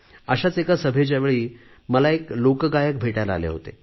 अशाच एका सभेच्या वेळी मला एक लोकगायक भेटायला आले होते